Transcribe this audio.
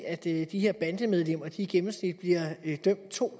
at de her bandemedlemmer i gennemsnit bliver dømt to